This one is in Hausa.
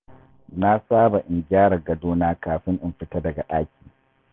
Na saba in gyara gadona kafin in fita daga ɗaki.